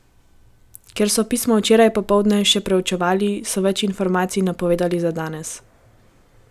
Ker so pismo včeraj popoldne še preučevali, so več informacij napovedali za danes.